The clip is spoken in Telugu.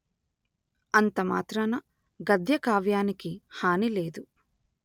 అంతమాత్రాన గద్యకావ్యానికి హాని లేదు